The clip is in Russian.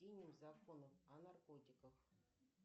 закон о наркотиках